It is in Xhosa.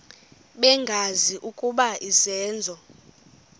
bengazi ukuba izenzo